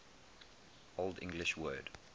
old english word